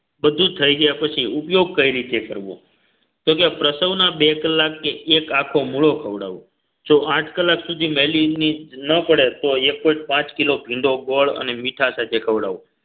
બધું થઈ ગયા પછી ઉપયોગ કઈ રીતે કરવો? તો કે પ્રસ્તાવના બે કલાક કે એક આખો મોળો ખવડાવો જો આઠ કલાક સુધી મેલી ન પડે તો એક point પાંચ કિલો ભીંડો ગોળ અને મીઠા સાથે ખવડાવો